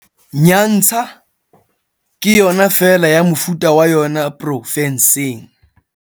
Nyantsha ke yona feela ya mofuta wa yona pro fenseng.